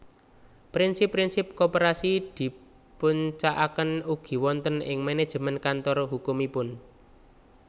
Prinsip prinsip koperasi dipuncakaken ugi wonten ing manajemen kantor hukumipun